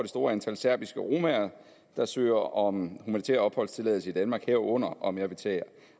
store antal serbiske romaer der søger om humanitær opholdstilladelse i danmark herunder om jeg vil tage